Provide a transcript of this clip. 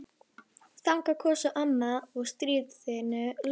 Þangað kom svo amma að stríðinu loknu.